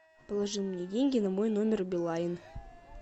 положи мне деньги на мой номер билайн